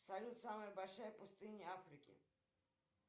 салют самая большая пустыня африки